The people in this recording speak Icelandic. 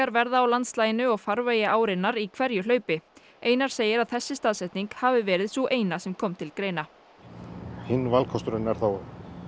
verða á landslaginu og farvegi árinnar í hverju hlaupi einar segir að þessi staðsetning hafi verið sú eina sem kom til greina hinn valkosturinn er þá